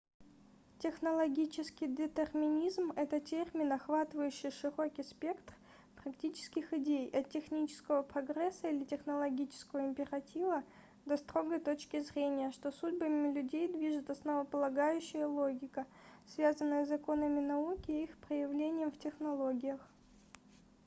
технологический детерминизм это термин охватывающий широкий спектр практических идей от технического прогресса или технологического императива до строгой точки зрения что судьбами людей движет основополагающая логика связанная с законами науки и их проявлением в технологиях